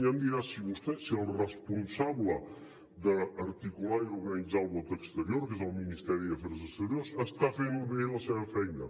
ja em dirà si el responsable d’articular i organitzar el vot exterior que és el ministeri d’afers exteriors està fent bé la seva feina